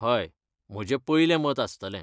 हय, म्हजें पयलें मत आसतलें.